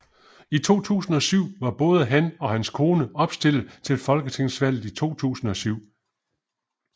I 2007 var både han og hans kone opstilled til Folketingsvalget 2007